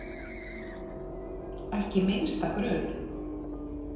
Ekki minnsta grun.